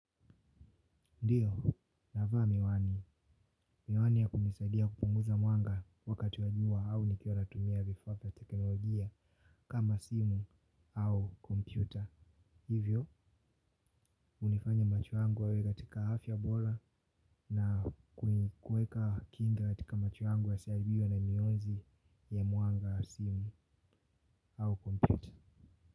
Ndiyo, navaa miwani. Miwani ya kunisaidia kupunguza mwanga wakati wa jua au nikiwa natumia vifaa vya teknolojia kama simu au kompyuta. Hivyo, unifanya macho yangu yawe katika afya bola na kuweka kinga katika macho yangu yasihibiyo na mionzi ya mwanga wa simu au kompyuta.